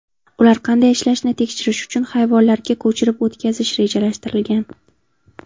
Ular qanday ishlashini tekshirish uchun hayvonlarga ko‘chirib o‘tkazish rejalashtirilgan.